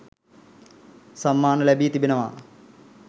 සම්මාන ලැබී තිබෙනවා.